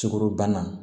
Sukaro bana